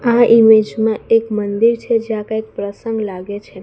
આ ઈમેજ માં એક મંદિર છે જ્યાં કંઈક પ્રસંગ લાગે છે.